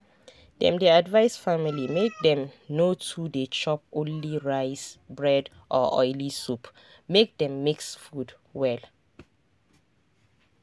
dem dey advise families make dem no too dey chop only rice bread or oily soup—make dem mix food well.